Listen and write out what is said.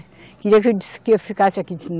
Queria que de, que eu ficasse aqui.